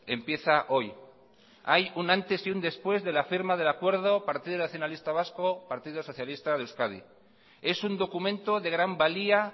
empieza hoy hay un antes y un después de la firma del acuerdo partido nacionalista vasco partido socialista de euskadi es un documento de gran valía